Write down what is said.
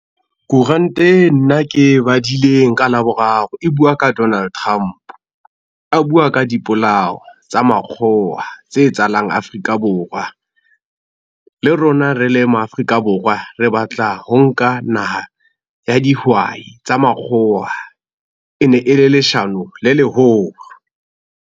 Kuranta e nna ke badileng ka Laboraro e bua ka Donald Trump. A bua ka dipolao tsa makgowa tse etsahalang Afrika Borwa. Le rona re le ma Afrika Borwa, re batla ho nka naha ya dihwai tsa makgowa e ne e le leshano le leholo.